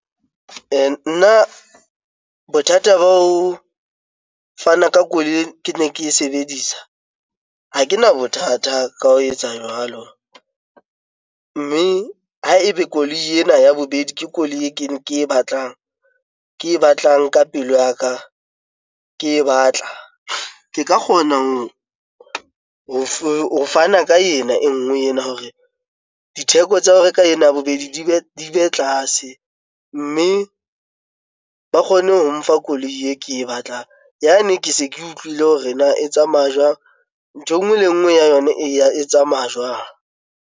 Nna bothata ba ho fana ka koloi kene ke e sebedisa, ha kena bothata ka ho etsa jwalo. Mme ha ebe koloi ena ya bobedi ke koloi e ke e batlang, ke e batlang ka pelo ya ka, ke e batla. Ke ka kgona ho fana ka ena e nngwe ena hore ditheko tsa ho reka ena ya bobedi di be tlase. Mme ba kgone ho mfa koloi e ke e batlang. Yane, ke se ke utlwile hore na e tsamaya jwang? Ntho e nngwe le nngwe ya yona e tsamaya jwang.